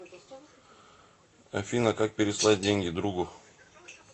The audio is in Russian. афина как переслать деньги другу